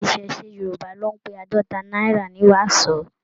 Iṣẹṣe Yorùbá ló n pé àádọta náírà ní wàsó.